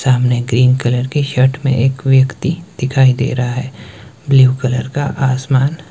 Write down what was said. सामने green colour के shirt में एक व्यक्ति दिखाई दे रहा है। ब्लू कलर का आसमान--